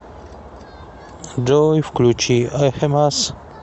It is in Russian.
джой включи эхимас